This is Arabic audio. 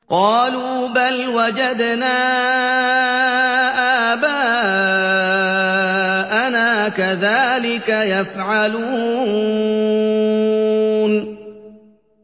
قَالُوا بَلْ وَجَدْنَا آبَاءَنَا كَذَٰلِكَ يَفْعَلُونَ